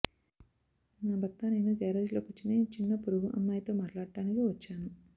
నా భర్త నేను గారేజ్లో కూర్చొని చిన్న పొరుగు అమ్మాయితో మాట్లాడటానికి వచ్చాను